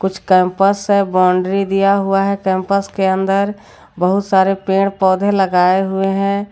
कुछ कैंपस है बाउंड्री दिया हुआ है कैंपस के अंदर बहुत सारे पेड़-पौधे लगाए हुए हैं।